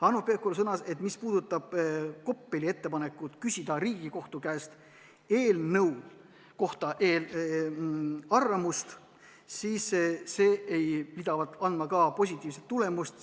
Hanno Pevkur sõnas, et mis puudutab Koppeli ettepanekut küsida Riigikohtu käest eelnõu kohta arvamust, siis see ei anna positiivset tulemust.